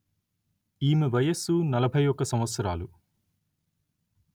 ఈమె వయస్సు నలభై ఒక్క సంవత్సరాలు